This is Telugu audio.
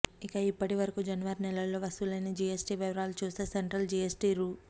ఇక ఇప్పటివరకు జనవరి నెలల్లో వసూలైన జీఎస్టీ వివరాలు చూస్తే సెంట్రల్ జీఎస్టీ రూ